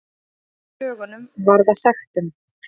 Brot gegn lögunum varða sektum